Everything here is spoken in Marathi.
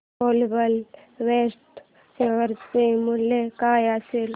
ग्लोबल वेक्ट्रा शेअर चे मूल्य काय असेल